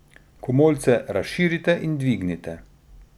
Komolce razširite in dvignite.